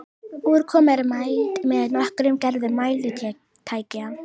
Úrkoma er mæld með nokkrum gerðum mælitækja.